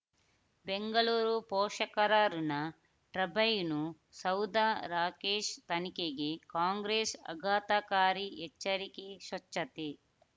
ಬೆಂಗಳೂರು ಪೋಷಕರಋಣ ಟರ್ಬೈನು ಸೌಧ ರಾಕೇಶ್ ತನಿಖೆಗೆ ಕಾಂಗ್ರೆಸ್ ಆಘಾತಕಾರಿ ಎಚ್ಚರಿಕೆ ಸ್ವಚ್ಛತೆ